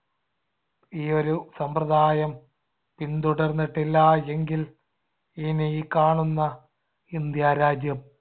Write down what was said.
ഈ ഒരു സമ്പ്രദായം പിന്തുടർന്നിട്ടില്ലായെങ്കിൽ ഇന്നീ കാണുന്ന ഇന്ത്യ രാജ്യം